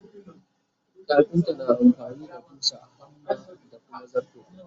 kafinta na amfani da ƙusa, hammer da Kuma zarto.